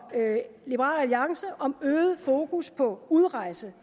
liberal alliance om øget fokus på udrejse